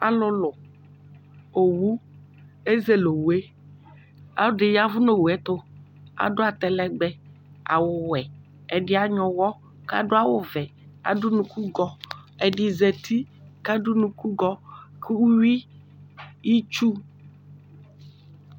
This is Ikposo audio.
Alʋlʋ owʋ ezele owʋɛ ɔlɔdi yavʋ nʋ owʋ ɛtʋ adʋ atalɛgbɛ awʋwɛ ɛdini anyuɛ ʋwɔ kʋ adʋ awʋwɛ adʋ ʋnʋkʋgɔ ɛdi zati kʋ adʋ ʋnʋkʋgɔ kʋ uwi itsu